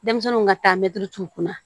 Denmisɛnninw ka taa mɛtiri t'u kunna